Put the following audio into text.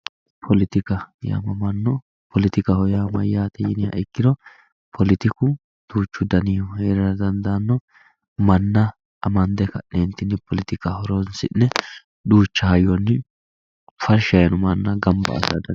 Poletika yaaamamanno poletikaho yaa mayaate yiniha ikkiro poletiku duuchu danihu heerara dandaanno manna amande ka'neentinni poletika horonsi'ne duucha hayyonni farsha yiino manna gamba assate.